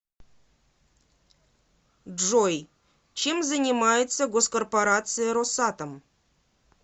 джой чем занимается госкорпорация росатом